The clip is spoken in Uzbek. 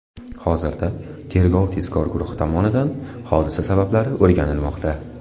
Hozirda tergov-tezkor guruhi tomonidan hodisa sabablari o‘rganilmoqda.